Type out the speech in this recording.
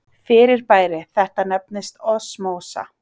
Fyrirbæri þetta nefnist osmósa.